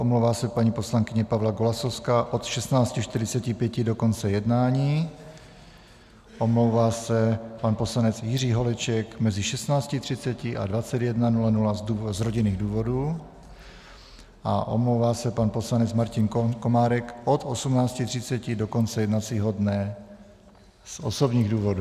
Omlouvá se paní poslankyně Pavla Golasowská od 16.45 do konce jednání, omlouvá se pan poslanec Jiří Holeček mezi 16.30 a 21.00 z rodinných důvodů a omlouvá se pan poslanec Martin Komárek od 18.30 do konce jednacího dne z osobních důvodů.